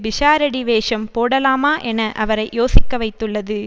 பிஷாரடி வேஷம் போடலாமா என அவரை யோசிக்க வைத்துள்ளது